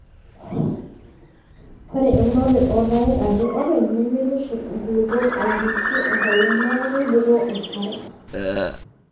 Ore eunore oo rpayek ake oopeny nemeitushurr nkulupuok aarishie enkolong neeku keibukoo enkare.